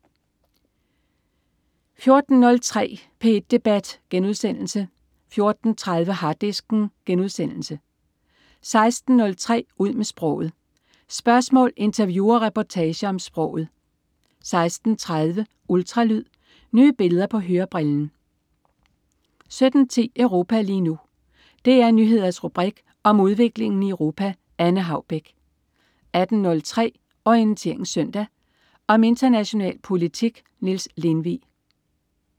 14.03 P1 debat* 14.30 Harddisken* 16.03 Ud med sproget. Spørgsmål, interview og reportager om sproget 16.30 Ultralyd. Nye billeder på hørebrillen 17.10 Europa lige nu. DR Nyheders rubrik om udviklingen i Europa. Anne Haubek 18.03 Orientering Søndag. Om international politik. Niels Lindvig